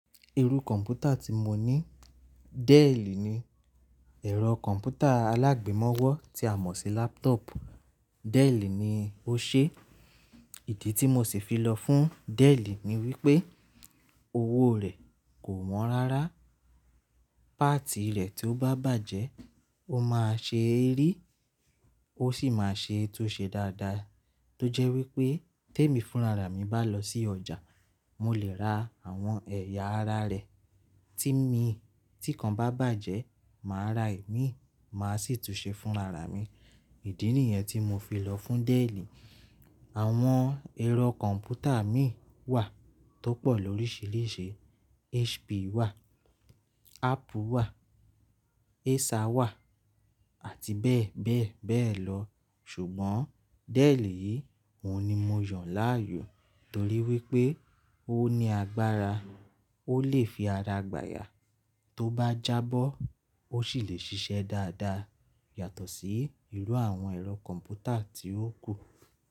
Irú kọ̀m̀pútà tí mo ní Dell ni. Ẹ̀rọ kọ̀m̀pútà alágbèmọ́wọ́ tí a mọ̀ sí laptop, Dell ni ó ṣe. Ìdí tí mo sì fi lọ fún Dell ni wípé owó rẹ̀ kò wọ́n rárá, páàtì rẹ̀ tí ó bá bàjẹ́ ó máa ṣeeri, ó sì máa ṣe é tún ṣe dáadáa. Tójẹ́ wípé témi fúnra ra mi bá lọ sí ọjà mo lè ra àwọn ẹ̀yà ara rẹ̀ tí mi tí kan bá bàjẹ́, màá ra imií, màá sì tún ṣe fúnra ra mi. Ìdí nìyẹn tí mo fi lọ fún Dell. Àwọn ẹ̀rọ kọ̀m̀pútà mìí wà tó pọ̀ lóríṣiríṣi. HP wà, Apple wà, Acer wà àti bẹ́ẹ̀ bẹ́ẹ̀ bẹ́ẹ̀ lọ. Ṣùgbọ́n Dell yìí òun ni mo yàn láàyò torí wípé ó ní agbára, ó lè fi ara gbà yá. Tó bá jábọ́ ó sì lè ṣiṣẹ́ dáadáa yàtọ̀ sí irú àwọn ẹ̀rọ kọ̀m̀pútà tí ó kù.